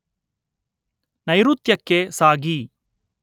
ನೈಋತ್ಯಕ್ಕೆ ಸಾಗಿ